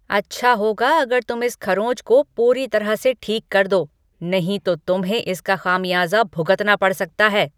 अच्छा होगा अगर तुम इस खरोंच को पूरी तरह से ठीक कर दो, नहीं तो तुम्हें इसका खामियाजा भुगतना पड़ सकता है!